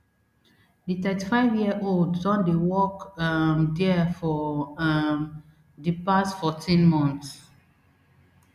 di thirty-fiveyearold don dey work um dia for um di past fourteen months